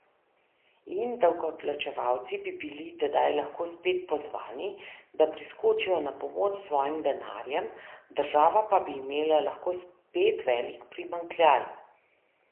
In davkoplačevalci bi bili tedaj lahko spet pozvani, da priskočijo na pomoč s svojim denarjem, država pa bi imela lahko spet velik primanjkljaj.